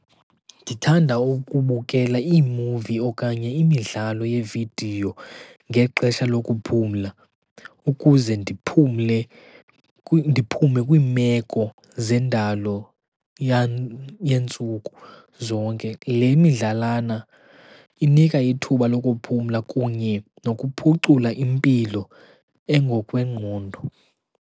Ndithanda ukubukela iimuvi okanye imidlalo yeevidiyo ngexesha lokuphumla ukuze ndiphumle, ndiphume kwiimeko zendalo yeentsuku zonke. Le midlalana inika ithuba lokuphumla kunye nokuphucula impilo engokwengqondo.